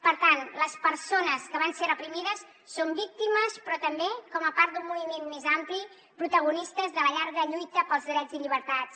per tant les persones que van ser reprimides són víctimes però també com a part d’un moviment més ampli protagonistes de la llarga lluita pels drets i llibertats